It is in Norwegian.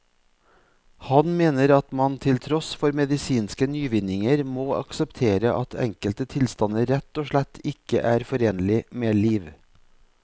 Han mener at man til tross for medisinske nyvinninger må akseptere at enkelte tilstander rett og slett ikke er forenlig med liv.